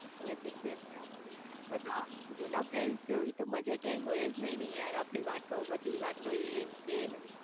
એતો છેજ ને બધા જુના ફ્રેન્ડ જેવી તો મજા કાઈ હોયજ નઈ ને યાર આપડી વાતો બધી વાતો એ ને તે ને